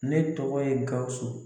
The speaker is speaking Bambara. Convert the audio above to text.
Ne tɔgɔ ye Gawusu